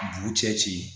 Dugu cɛ ci